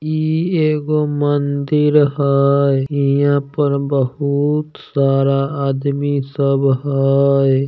ई एगो मंदिर हई। हिंयां पर बहुत सारा आदमी सब हई।